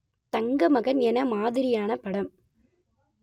தங்கமகன் என்ன மாதிரியான படம்